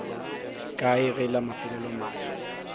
kae ge la mafelelo mahlo